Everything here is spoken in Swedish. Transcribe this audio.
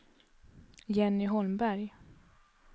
Jenny Holmberg